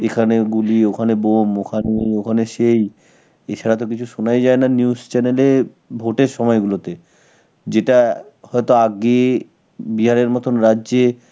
এখানে গুলি, ওখানে bomb, ওখানে, ওখানে সেই. এছাড়া তো কিছু শোনাই যায় না news channel এ vote এর সময় গুলোতে. যেটা হয়তো আগে বিহারের মতন রাজ্যে